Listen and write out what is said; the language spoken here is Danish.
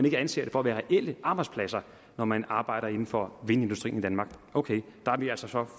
ikke anser det for at være reelle arbejdspladser når man arbejder inden for vindindustrien i danmark ok der er vi altså så